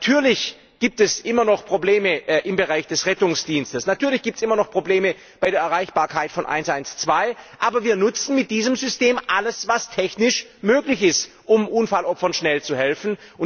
Natürlich gibt es immer noch Probleme im Bereich des Rettungsdienstes, natürlich gibt es immer noch Probleme bei der Erreichbarkeit von 112, aber wir nutzen mit diesem System alles, was technisch möglich ist, um Unfallopfern schnell zu helfen.